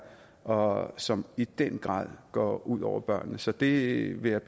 og som i den grad går ud over børnene så det vil jeg